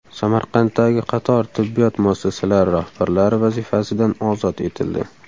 Samarqanddagi qator tibbiyot muassasalari rahbarlari vazifasidan ozod etildi.